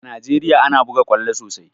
A Najeriya ana buga ƙwallo sosai